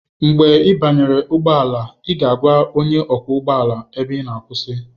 Mgbe ị banyere ụgbọ ala, ị ga-agwa onye ọkwọ ụgbọ ala ebe ị ga akwụsị.